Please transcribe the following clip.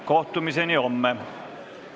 Kohtumiseni homme!